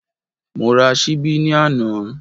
Mo ra ṣíbí ní àná